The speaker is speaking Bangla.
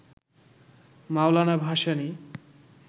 মওলানা ভাসানী